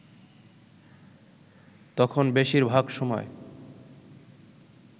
তখন বেশির ভাগ সময়